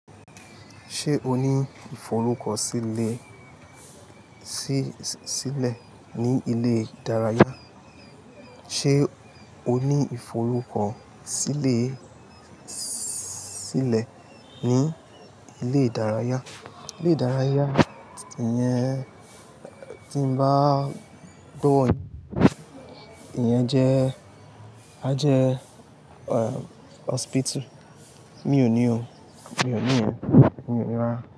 Ṣé o ní ìforúkọ sílè, sí, sílẹ̀ ní ilé ìdárayá? Ṣé o ní ìforúkọ sílè, sílẹ̀ ní ilé ìdárayá? Ilé ìdárayá yẹn tí mo bá gbọ́ ọ ní, ìyẹn jẹ́, a jẹ hospital. Mi ò ní o. Mi ò ní o. Mi ò ní wá.